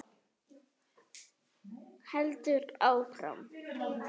Heldur áfram: